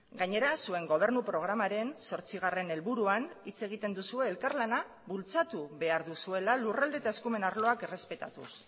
gainera zuen gobernu programaren zortzigarren helburuan hitz egiten duzue elkarlana bultzatu behar duzuela lurralde eta eskumen arloak errespetatuz